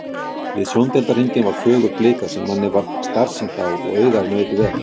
Við sjóndeildarhring var fögur blika sem manni varð starsýnt á og augað naut vel.